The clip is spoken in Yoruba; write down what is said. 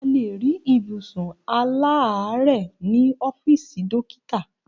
A lè rí ibùsùn aláàárẹ̀ ní ọ́fìsì dókítà